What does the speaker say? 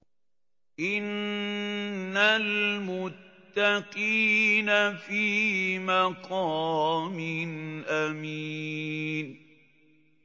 إِنَّ الْمُتَّقِينَ فِي مَقَامٍ أَمِينٍ